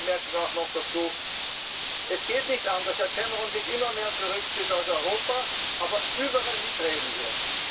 sagen! Eine letzte Bemerkung noch dazu Es geht nicht an, dass Herr Cameron sich immer mehr zurückzieht aus Europa, aber überall mitreden